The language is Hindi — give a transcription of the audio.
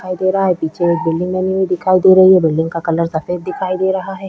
दिखाई दे रहा है पीछे एक बिल्डिंग बनी हुई दिखाई दे रही है बिल्डिंग का कलर सफेद दिखाई दे रहा है।